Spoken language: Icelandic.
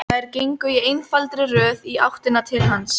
Þær gengu í einfaldri röð í áttina til hans.